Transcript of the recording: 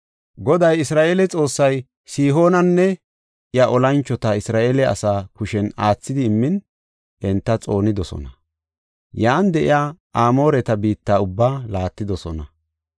Goday Isra7eele Xoossay Sihoonanne iya olanchota Isra7eele asaa kushen aathidi immin, enta xoonidosona. Yan de7iya Amooreta biitta ubbaa laattidosona.